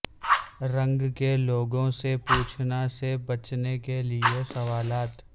رنگ کے لوگوں سے پوچھنا سے بچنے کے لئے سوالات